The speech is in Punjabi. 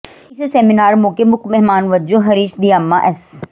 ਇਸ ਸੈਮੀਨਾਰ ਮੌਕੇ ਮੁੱਖ ਮਹਿਮਾਨ ਵਜੋਂ ਹਰੀਸ਼ ਦਿਆਮਾ ਐਸ